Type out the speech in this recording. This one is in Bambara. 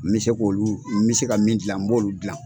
N bɛ se k'olu n bɛ se ka min dilan n b'olu dilan.